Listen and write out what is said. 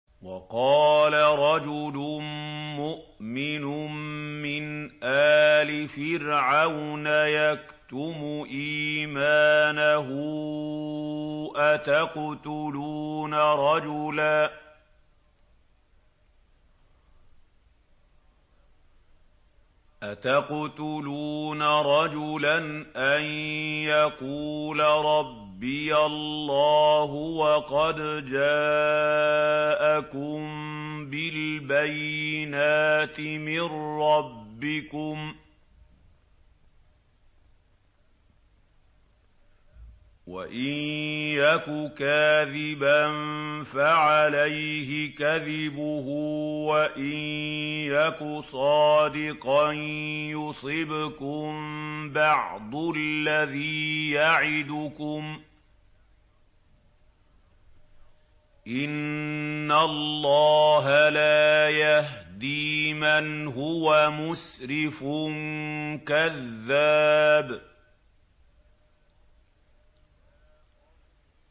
وَقَالَ رَجُلٌ مُّؤْمِنٌ مِّنْ آلِ فِرْعَوْنَ يَكْتُمُ إِيمَانَهُ أَتَقْتُلُونَ رَجُلًا أَن يَقُولَ رَبِّيَ اللَّهُ وَقَدْ جَاءَكُم بِالْبَيِّنَاتِ مِن رَّبِّكُمْ ۖ وَإِن يَكُ كَاذِبًا فَعَلَيْهِ كَذِبُهُ ۖ وَإِن يَكُ صَادِقًا يُصِبْكُم بَعْضُ الَّذِي يَعِدُكُمْ ۖ إِنَّ اللَّهَ لَا يَهْدِي مَنْ هُوَ مُسْرِفٌ كَذَّابٌ